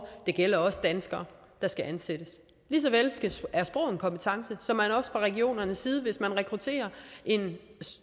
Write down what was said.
det gælder også danskere der skal ansættes lige så vel er sprog en kompetence så regionernes side hvis man rekrutterer en